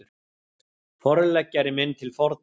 Forleggjari minn til forna